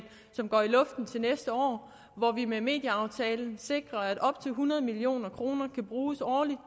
som går i luften til næste år hvor vi med medieaftalen sikrer at op til hundrede million kroner kan bruges årligt